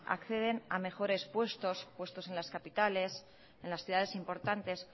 acceden a mejores puestos puestos en las capitales en las ciudades importantes